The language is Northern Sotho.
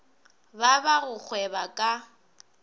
ba ba go gweba ka